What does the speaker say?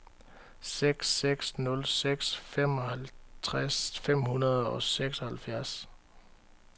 seks seks nul seks femoghalvtreds fem hundrede og seksoghalvfjerds